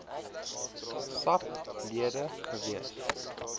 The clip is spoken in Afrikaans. sap lede gewees